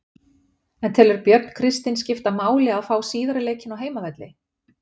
En telur Björn Kristinn skipta máli að fá síðari leikinn á heimavelli?